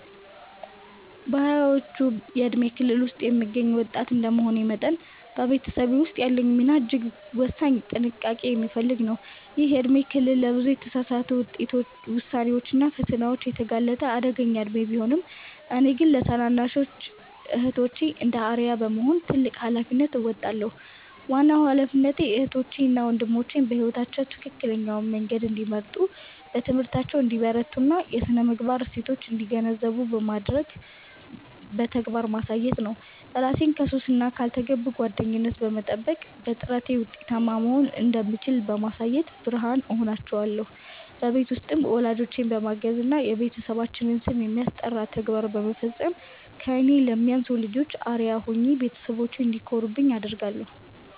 በሃያዎቹ የእድሜ ክልል ውስጥ የምገኝ ወጣት እንደመሆኔ መጠን፤ በቤተሰቤ ውስጥ ያለኝ ሚና እጅግ ወሳኝና ጥንቃቄ የሚፈልግ ነው። ይህ የእድሜ ክልል ለብዙ የተሳሳቱ ውሳኔዎችና ፈተናዎች የተጋለጠ አደገኛ እድሜ ቢሆንም፤ እኔ ግን ለታናናሽ እህቶቼ እንደ አርአያ በመሆን ትልቅ ኃላፊነት እወጣለሁ። ዋናው ኃላፊነቴ እህቶቼ እና ወንድሞቼ በሕይወታቸው ትክክለኛውን መንገድ እንዲመርጡ፣ በትምህርታቸው እንዲበረቱና የሥነ-ምግባር እሴቶችን እንዲገነዘቡ በተግባር ማሳየት ነው። እራሴን ከሱስና ካልተገቡ ጓደኝነት በመጠበቅ፤ በጥረቴ ውጤታማ መሆን እንደምችል በማሳየት ብርሃን እሆናቸዋለሁ። በቤት ውስጥም ወላጆቼን በማገዝና የቤተሰባችንን ስም የሚያስጠራ ተግባር በመፈጸም ከእኔ ለሚያንሱ ልጆች አርአያ ሆኜ ቤተሰቦቼ እንዲኮሩብኝ አደርጋለሁ።